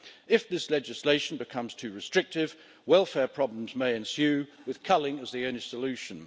If this legislation becomes too restrictive, welfare problems may ensue, with culling as the only solution.